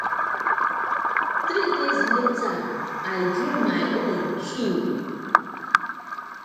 three days later i dream my own too